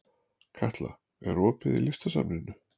Katla, er opið í Listasafninu?